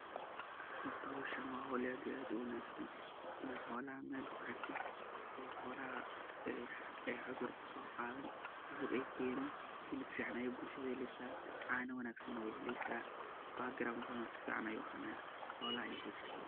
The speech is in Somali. Hoorta meshan wa meel aad iyo aad u wangsan, Ina xoolaha meeshan meel kuxeerted oo xolaha cuudur so Qathan ay keenin helib fican Aya bulshada heeleysah , cana wangsan way heeleysah background sufican ayu ahaanaya hoolaha iyo bulshadobo.